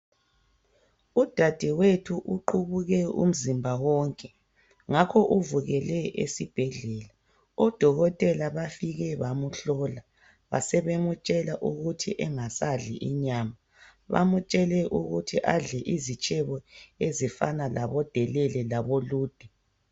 Udadewethu uqubuke umzimba wonke ngakho ubukele esibhedlela. Odokotela bafike bamhlola basebemtshela ukuthi engasadli inyama. Bamtshele ukuthi adle izitshebo ezifana labodelele labolude.